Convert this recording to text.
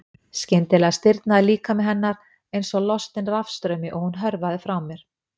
Skyndilega stirðnaði líkami hennar einsog lostin rafstraumi og hún hörfaði frá mér.